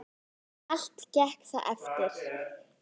Um þetta er varla deilt.